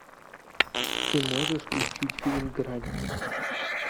ты можешь включить фильм грань